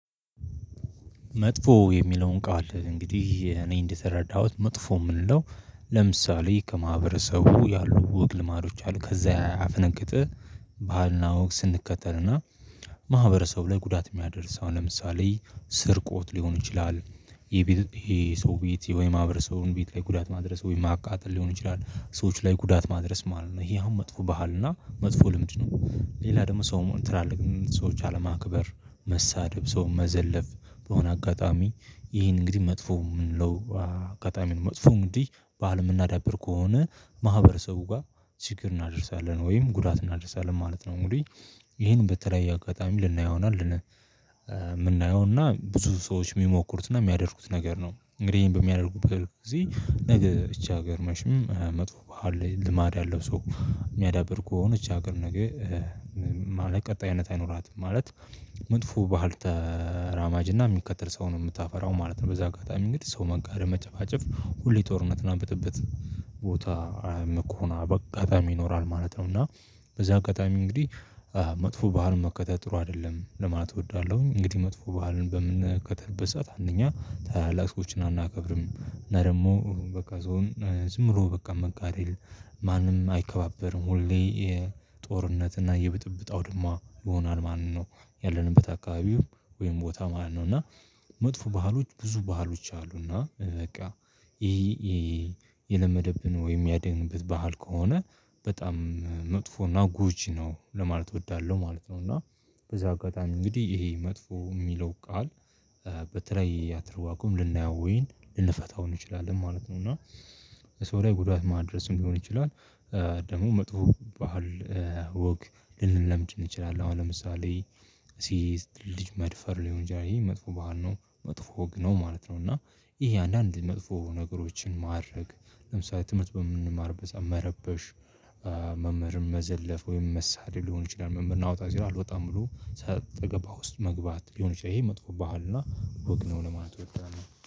መጥፎ የሚለውን ቃል እንግዲህ እኔ እንደተረዳሁት መጥፎ የምንለው። ለምሳሌ ከማህበረሰቡ ያሉ ወግ ልማዶች አሉ ከዛ ያፈነገጠ ባህልና ውግ ስንከተልና ማህበረሰቡ ላይ ጉዳት የሚያደርስ አሁን ለምሳሌ ስርቆት ሊሆን ይችላል። ይሄ የሰው ቤት ወይ የማህበረሰቡን ቤት ላይ ጉዳት ማድረስ ወይ ማቃጠል ሊሆን ይችላል ሰዎች ላይ ጉዳት ማድረስ ማለት ነው። ይሄ አሁን መጥፎ ባህል እና መጥፎ ልምድ ነው። ሌላ ደግሞ ሰው ትላልቅ ሰዎች አለማክበር መሳደብ ሰው መዘለፍ በሆነ አጋጣሚ ይህ እንግዲህ መጥፎ የምንለው አጋጣሚ ነው። መጥፎ እንግዲህ ባህል የምናዳብር ከሆነ ማህበረሰቡ ጋር ችግር እናደርሳለን ወይም ጉዳት እናደርሳለን ማለት ነው። እንግዲህ ይሄን በተለያዩ አጋጣሚ ልናየውና ምናየው እና ብዙ ሰዎች የሚሞክሩት እና የሚያደርጉት ነገር ነው። እንግዲህ ይሄን በሚያደርጉት ጊዜ ነገ እቺ ሀገር መችም መጥፎ ባህል ልማድ ያለው ሰው የሚያዳብር ከሆነ እቺ ሀገር ነገ ማለት ቀጣይነት አይኖራትም። ማለት መጥፎ ባህል ተራማጅና የሚከተል ሰው ነው የምታፈራው ማለት ነው። በዚህ አጋጣሚ እንግዲህ ሰው መጋደም መጨፋጨፍ ሁሌ ጦርነት እና ብጥብጥ ቦታ መቆና በአጋጣሚ ይኖራል ማለት ነው። እና በዚህ አጋጣሚ እንግዲህ መጥፎ ባህል መከተል ጥሩ አይደለም ለማለት እወዳለሁኝ። እንግዲህ መጥፎ ባህልን በምንከተልበት ሰዓት አንደኛ ታላላቆች ሰዎችን አናከብርም እና ደግሞ በቃ ሰውን ዝም ብሎ በቃ መጋደል ማንም አይከባበርም ሁሌ ጦርነት እና የብጥብጥ አውድማ ይሆናል ማለት ነው። ያለንበት አካባቢው ወይም ቦታ ማለት ነው። እና መጥፎ ባህሎች ብዙ ባህሎች አሉና በቃ ይሄ የለመደብን ወይም ያደግንበት ባህል ከሆነ በጣም መጥፎ እና ጎጂ ነው ለማለት እወዳለሁ ማለት ነው። እና በዚሁ አጋጣሚ እንግዲህ ይሄ መጥፎ የሚለው ቃል በተለይ አትርዋቁም ልናየው ወይም ልንፈታው እንችላለን ማለት ነው። እና ሰው ላይ ጉዳት ማድረስም ሊሆን ይችላል። ደግሞ መጥፎ ባህል ወግ ልንለምድ እንችላለን አሁን ለምሳሌ ሴትን ልጅ መድፈር ሊሆን ይችላል ይሄ መጥፎ ባህል ነው መጥፎ ወግ ነው ማለት ነው። እና ይሄ አንዳንድ መጥፎ ነገሮችን ማረግ ለምሳሌ ትምህርት በምንማርበት ሰዓት መረበሽ። መምህርም መዘለፍ ወይም መሰለል ሊሆን ይችላል መምህር ና ውጣ ሲለው አልወጣም ብሎ ሰጣገባ ውስጥ መግባት ሊሆን ይችላል። ይሄ መጥፎ ባህልና ወግ ነው ለማለት እወዳለሁ